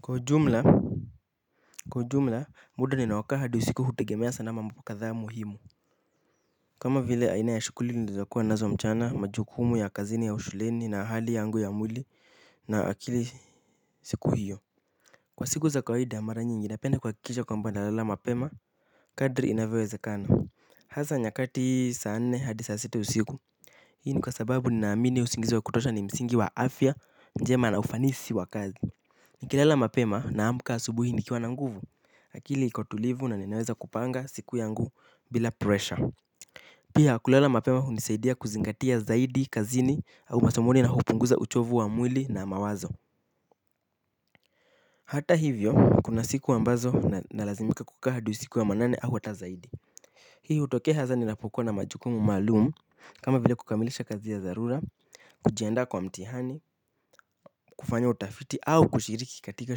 Kwa jumla kwa jumla muda ninaokaa hadi usiku hutegemea sana mambo kadhaa muhimu. Kama vile aina ya shukuli nilizokuwa nazo mchana majukumu ya kazini au shuleni na hali yangu ya mwili na akili siku hiyo. Kwa siku za kawaida mara nyingi napenda kuhakikisha kwamba nalala mapema kadri inavyowezekana. Hasa nyakati saa nne hadi saa sita usiku hii ni kwa sababu ninaamini usingizi wa kutosha ni msingi wa afya njema na ufanisi wa kazi. Nikilala mapema naamka asubuhi nikiwa na nguvu. Akili iko tulivu na ninaweza kupanga siku yangu bila pressure. Pia kulala mapema hunisaidia kuzingatia zaidi, kazini au masomoni na hupunguza uchovu wa mwili na mawazo. Hata hivyo, kuna siku ambazo nalazimika kukaa hadi usiku wa manane au hata zaidi. Hii hutokea haza ninapokuwa na majukumu maalum kama vile kukamilisha kazi ya dharura kujiandaa kwa mtihani kufanya utafiti au kushiriki katika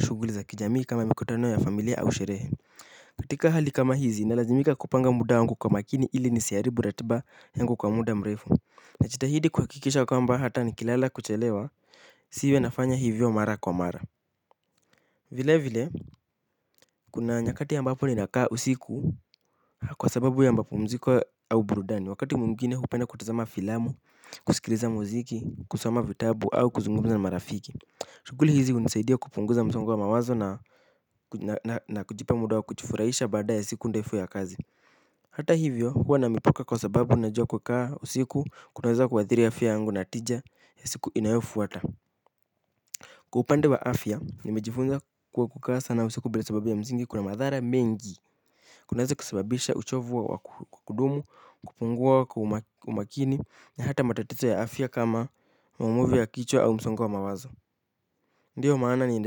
shughuli za kijamii kama mikutano ya familia au sherehe. Katika hali kama hizi nalazimika kupanga muda wangu kwa makini ili nisiharibu ratiba yangu kwa muda mrefu. Najitahidi kuhakikisha ya kwamba hata nikilala kuchelewa siwe nafanya hivyo mara kwa mara vile vile kuna nyakati ambapo ninakaa usiku kwa sababu ya mapumziko au burudani wakati mwingine hupenda kutazama filamu kusikiliza muziki kusoma vitabu au kuzungumza na marafiki. Shughuli hizi hunisaidia kupunguza msongo wa mawazo na na na kujipa muda wa kujifuraisha baada ya siku ndefu ya kazi. Hata hivyo huwa na mipaka kwa sababu najua kukaa usiku kunaweza kuathiri afya yangu na tija ya siku inayofuata. Kwa upande wa afya nimejifunza kuwa kukaa sana usiku bila sababu ya mzingi kuna madhara mengi. Kunaweza kusababisha uchovu wa wa kudumu kupungua kwa umakini na hata matatizo ya afya kama maumivu ya kichwa au msongo wa mawazo. Ndiyo maana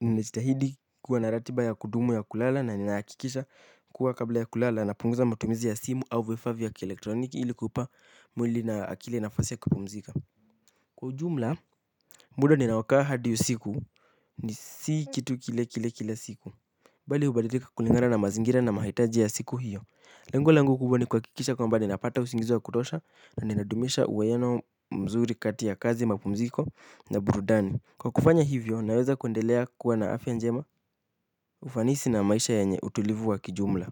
ninajitahidi kuwa na ratiba ya kudumu ya kulala na ninahakikisha kuwa kabla ya kulala napunguza matumizi ya simu au vifaa vya kielektroniki ili kupa mwili na akili nafasi ya kupumzika. Kwa jumla, muda ninaokaa hadi usiku ni si kitu kile kile kila siku. Bali hubadilika kulingana na mazingira na mahitaji ya siku hiyo. Lengu langu kubwa ni kuhakikisha kwamba ninapata usingizi wa kutosha na ninadumisha uwaiano mzuri kati ya kazi ya mapumziko na burudani. Kwa kufanya hivyo, naweza kuendelea kuwa na afya njema ufanisi na maisha yenye utulivu wa kijumla.